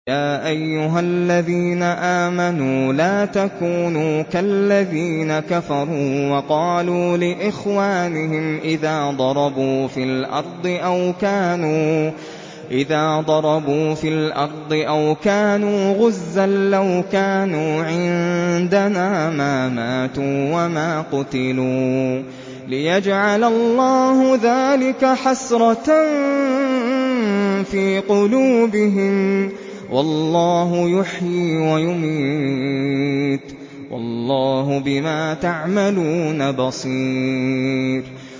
يَا أَيُّهَا الَّذِينَ آمَنُوا لَا تَكُونُوا كَالَّذِينَ كَفَرُوا وَقَالُوا لِإِخْوَانِهِمْ إِذَا ضَرَبُوا فِي الْأَرْضِ أَوْ كَانُوا غُزًّى لَّوْ كَانُوا عِندَنَا مَا مَاتُوا وَمَا قُتِلُوا لِيَجْعَلَ اللَّهُ ذَٰلِكَ حَسْرَةً فِي قُلُوبِهِمْ ۗ وَاللَّهُ يُحْيِي وَيُمِيتُ ۗ وَاللَّهُ بِمَا تَعْمَلُونَ بَصِيرٌ